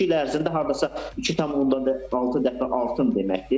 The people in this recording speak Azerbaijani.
Bu iki il ərzində hardasa 2,6 dəfə artım deməkdir.